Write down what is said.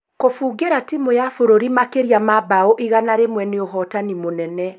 Gũbungĩra timũ ya bũrũri makĩria ma mbaũ igana rĩmwe nĩ ũhotani mũnene